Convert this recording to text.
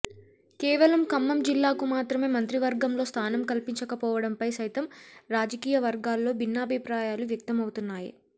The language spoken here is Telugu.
కేవలం ఖమ్మం జిల్లాకు మాత్రమే మంత్రివర్గంలో స్థానం కల్పించకపోవడంపై సైతం రాజకీయ వర్గాల్లో భిన్నాభిప్రాయాలు వ్యక్తమవుతున్నాయి